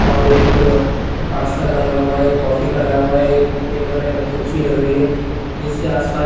और एक पास्ता का लगा हुआ है एक कॉफ़ी का लगा हुआ है एक टेबल है बहोत अछि लग रही है जिसके आस पास--